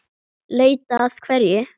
Leita að hverju?